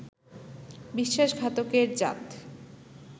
বিশ্বাসঘাতকের জাত